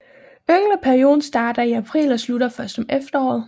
Yngleperioden starter i april og slutter først om efteråret